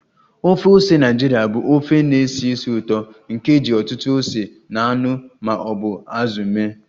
Ofe ose Naịjirịa bụ ofe na-esi ísì ụtọ nke e ji ọtụtụ ose na anụ ma ọ bụ azụ mee